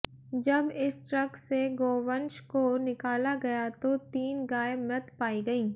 जब इस ट्रक से गोवंश को निकाला गया तो तीन गाय मृत पाई गई